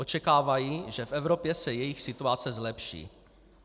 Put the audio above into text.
Očekávají, že v Evropě se jejich situace zlepší.